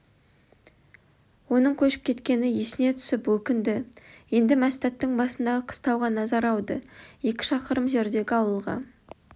оның көшіп кеткені есіне түсіп өкінді енді мәстәттің басындағы қыстауға назары ауды екі шақырым жердегі ауылға